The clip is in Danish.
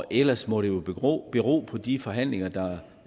ellers må det jo bero bero på de forhandlinger der